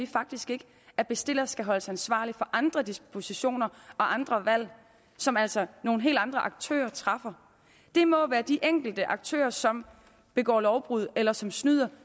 faktisk ikke at bestiller skal holdes ansvarlig for andre dispositioner og andre valg som altså nogle helt andre aktører træffer det må være de enkelte aktører som begår lovbrud eller som snyder